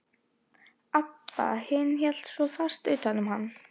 Abba hin hélt svo fast utan um hann.